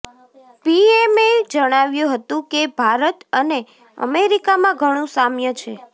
પીએમે જણાવ્યું હતું કે ભારત અને અમેરિકામાં ઘણું સામ્ય છે